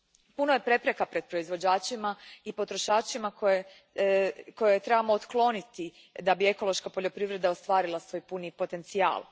Puno je prepreka pred proizvođačima i potrošačima koje trebamo otkloniti da bi ekološka poljoprivreda ostvarila svoj puni potencijal.